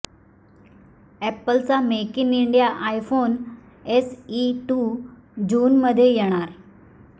अॅपलचा make in India iPhone SE two जूनमध्ये येणार